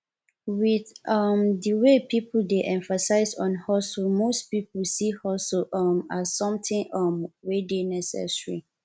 with um di wey pipo dey emphasize on hustle most pipo see hustle um as something um we dey necessary